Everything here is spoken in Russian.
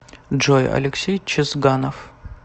джой алексей чезганов